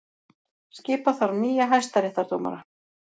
Skipa þarf nýja hæstaréttardómara